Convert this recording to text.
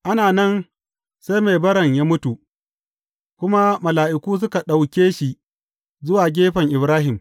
Ana nan, sai mai baran ya mutu, kuma mala’iku suka ɗauke shi zuwa gefen Ibrahim.